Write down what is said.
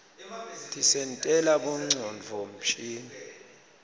tisentela bongcondvo mshini